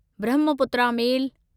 Brahmaputra मेल